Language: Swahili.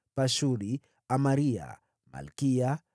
Pashuri, Amaria, Malkiya,